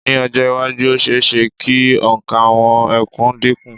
Ní ọjọ́-iwájú, ó ṣe-é-ṣe kí òǹkà àwọn ẹkùn dínkù.